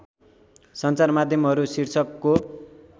सञ्चार माध्यमहरू शीर्षकको